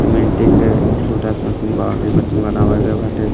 सिमेंटे क छोटा सा मतीन बाउंड्री मतीन बनावा गए बाटे।